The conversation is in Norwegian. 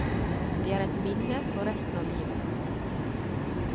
Det er et minne for resten av livet.